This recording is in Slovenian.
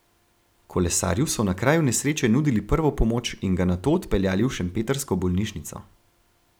Kolesarju so na kraju nesreče nudili prvo pomoč in ga nato odpeljali v šempetrsko bolnišnico.